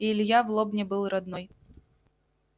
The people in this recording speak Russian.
и илья в лобне был родной